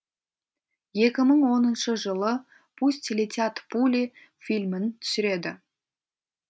екі мың оныншы жылы пусть летят пули фильмін түсіреді